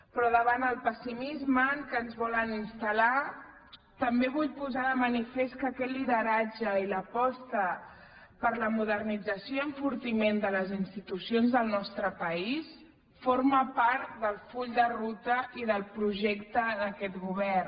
però davant el pessimisme en què ens volen instal·lar també vull posar de manifest que aquest lideratge i l’aposta per la modernització i enfortiment de les institucions del nostre país formen part del full de ruta i del projecte d’aquest govern